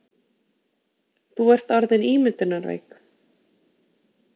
Þú ert orðin ímyndunarveik.